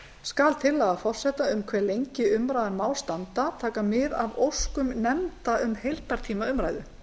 skal tillaga forseta um hve lengi umræðan má standa taka mið af óskum nefnda um heildartíma umræðu